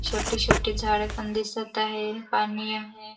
छोटी छोटी झाड पण दिसत आहे पाणी आहे.